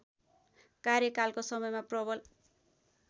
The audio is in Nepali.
कार्यकालको समयमा प्रबल